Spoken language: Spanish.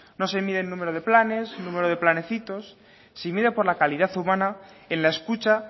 no se mide el número de planes número de planecitos se mide por la calidad humana en la escucha